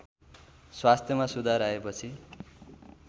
स्वास्थ्यमा सुधार आएपछि